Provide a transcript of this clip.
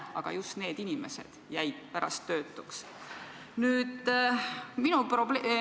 Aga pärast jäid just need inimesed töötuks.